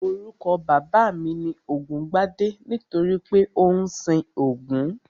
Orúkọ bàbá mi ni Ògúngbadé nítorí pé ó ń sin Ògún